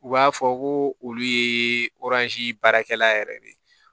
U b'a fɔ ko olu ye baarakɛla yɛrɛ de ye